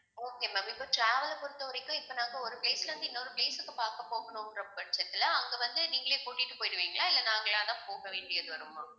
okay ma'am இப்போ travel அ பொறுத்தவரைக்கும் இப்ப நாங்க ஒரு place ல இருந்து இன்னொரு place க்கு பார்க்க போகணும்ங்கிற பட்சத்துல அங்க வந்து நீங்களே கூட்டிட்டு போயிடுவீங்களா இல்லை நாங்களாதான் போக வேண்டியது வருமா